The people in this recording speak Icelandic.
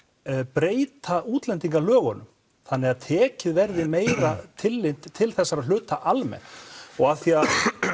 breyta útlendingalögunum þannig að tekið verði meira tillit til þessara hluta almennt og af því að